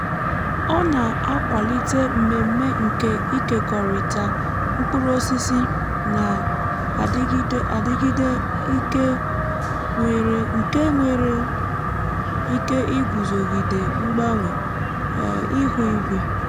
ọ na-akwalite mmemme nke ịkekọrịta mkpụrụ osisi na-adịgide adịgide nke nwere um ike iguzogide mgbanwe um ihu igwe. um